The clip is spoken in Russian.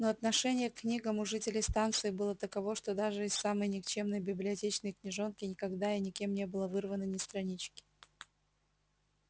но отношение к книгам у жителей станции было таково что даже из самой никчёмной библиотечной книжонки никогда и никем не было вырвано ни странички